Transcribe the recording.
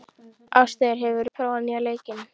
Ástheiður, hefur þú prófað nýja leikinn?